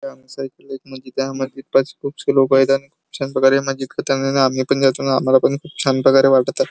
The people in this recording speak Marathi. इथं आमचं एक मस्जिद हाय मस्जिदात खुपशे लोकं येतात आम्हाला खूप छान प्रकारे मजेत आम्ही पण जातो आम्हाला पण खूप छान प्रकारे --